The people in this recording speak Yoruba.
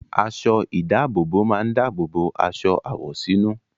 Aṣọ-ìdáàbòbò máa ń dáàbò bo aṣọ àwọ̀sínú.